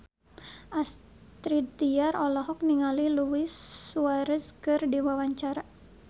Astrid Tiar olohok ningali Luis Suarez keur diwawancara